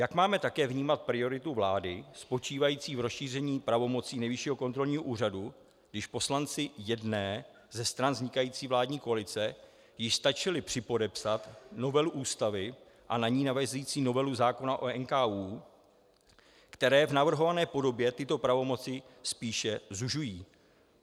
Jak máme také vnímat prioritu vlády spočívající v rozšíření pravomocí Nejvyššího kontrolního úřadu, když poslanci jedné ze stran vznikající vládní koalice již stačili připodepsat novelu Ústavy a na ni navazující novelu zákona o NKÚ, které v navrhované podobě tyto pravomoci spíše zužují.